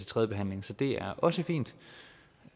tredje behandling så det er også fint